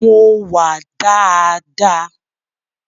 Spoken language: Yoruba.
Mo wà daadaa.